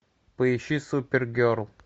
поищи супергерл